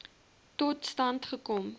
tot stand gekom